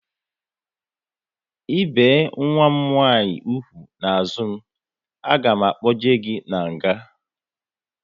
I bie nwa m nwaanyị úgwù n'azụ m, a ga m akpochi gị n'nga!